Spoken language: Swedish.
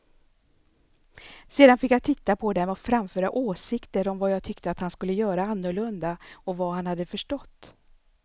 Sedan fick jag titta på dem och framföra åsikter om vad jag tyckte att han skulle göra annorlunda och vad han hade förstått.